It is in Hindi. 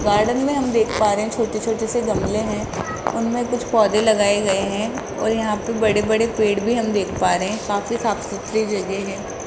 गार्डन मे हम देख पा रहे है छोटे-छोटे से गमले है उनमें कुछ पौधे लगाये गये हैं और यहां पे बड़े-बड़े पेड़ भी हम देख पा रहे काफी साफ-सुधरी जगह है।